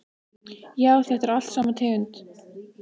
Já, þetta er allt sama tegund.